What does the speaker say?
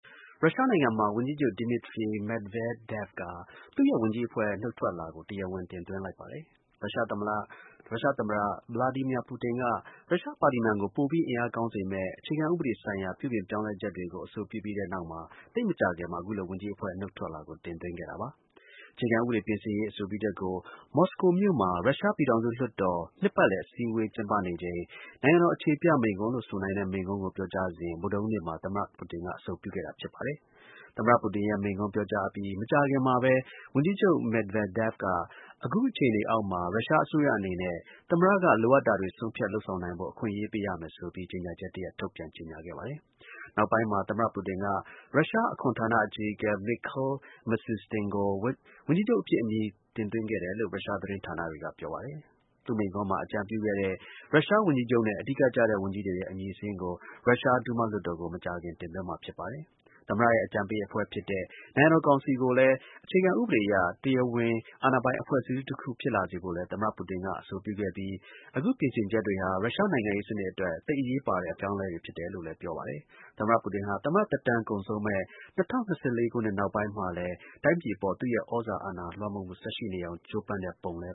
ရုရှားနိုင်ငံမှာ ဝန်ကြီးချုပ် Dmitry Medvedev ဟာ သူ့ရဲ့ ဝန်ကြီးအဖွဲ့ နုတ်ထွက်လွှာကို တရားဝင် တင်သွင်းလိုက်ပါတယ်။ ရုရှား သမ္မတ Vladimir Putin က ရုရှား ပါလီမန်ကို ပိုပြီး အင်အားကောင်းစေမယ့် အခြေခံဥပဒေဆိုင်ရာ ပြုပြင်ပြောင်းလဲချက်တွေကို အဆိုပြုပြီးနောက် သိပ်မကြာခင်မှာ အခုလိုဝန်ကြီးအဖွဲ့ နုတ်ထွက်လွှာကို တင်သွင်းခဲ့တာပါ။ အခြေခံဥပဒေ ပြင်ဆင်ရေး အဆိုပြုချက်ကို မော်စကိုမြို့တော်မှာ ရုရှား ပြည်ထောင်စု လွှတ်တော် နှစ်ပတ်လည် အစည်းအဝေးက ကျင်းပနေချိန် နိုင်ငံတော် အခြေပြ မိန့်ခွန့်နဲ့ အလားသဏ္ဍန်တူတဲ့ မိန့်ခွန်းကို ပြောကြားစဉ် ဗုဒ္ဓဟူးနေ့မှာ သမ္မတ ပူတင်က အဆိုပြုခဲ့တာ ဖြစ်ပါတယ်။ သမ္မတ ပူတင်ရဲ့ မိန့်ခွန်းပြောကြားအပြီး မကြာခင်မှာပဲ ဝန်ကြီးချုပ် Medvedev က အခု အခြေအနေအောက်မှာ ရုရှား အစိုးရ အနေနဲ့ သမ္မတက လိုအပ်တာတွေ ဆုံးဖြတ် လုပ်ဆောင်နိုင်ဖို့ အခွင့်ပေးရမယ်ဆိုပြီး ကြေညာချက်တစ်ရပ် ထုတ်ပြန်ကြေညာခဲ့တာပါ။ နောက်ပိုင်းမှာ သမ္မတပူတင်က ရုရှား အခွန်ဌာနအကြီးအကဲ Mikhail Mishustin ကို ဝန်ကြီးချုပ်အဖြစ် အမည်တင်သွင်းခဲ့တယ်လို့ ရုရှား သတင်းဌာနတွေက ပြောပါတယ်။ သူ့မိန့်ခွန်းမှာ အကြံပြုခဲ့တဲ့ ရုရုား ဝန်ကြီးချုပ်နဲ့ အဓိကကျတဲ့ ဝန်ကြီးတွေရဲ့ အမည်စာရင်း ကို ရုရှား ဒူးမားလွှတ်တော်ကို မကြာခင် ရောက်သွားမှာ ဖြစ်ပါတယ်။ သမ္မတရဲ့ အကြံပေးအဖွဲ့ဖြစ်တဲ့ နိုင်ငံတော် ကောင်စီကိုလည်း အခြေခံဥပဒေအရ တရားဝင်တဲ့ အာဏာပိုင်အဖွဲ့အစည်းတခု ဖြစ်လာစေဖို့လည်း သမ္မတ ပူတင်က အဆိုပြုခဲ့ပြီး အခု ပြင်ဆင်ချက် တွေဟာ ရုရှားနိုင်ငံရေး စနစ်အတွက် သိပ် အရေးပါတဲ့ အပြောင်းအလဲတွေ ဖြစ်တယ်လို့လည်း ပြောပါတယ်။ သမ္မတ ပူတင်ဟာ သမ္မတ သက်တမ်း ကုန်ဆုံးမယ့် ၂၀၂၄ ခုနှစ် နောက်ပိုင်းမှာလည်း တိုင်းပြည်အပေါ် သူ့ရဲ့ သြဇာ လွှမ်းမိုးမှု ဆက်ရှိနေအောင် ကြိုးပမ်းတဲ့ ပုံလ